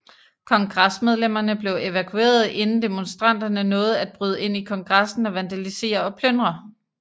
Kongresmedlemmerne blev evakueret inden demonstranterne nåede at bryde ind i Kongressen og vandalisere og plyndre